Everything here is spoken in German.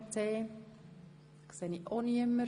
– Dies ist ebenfalls nicht der Fall.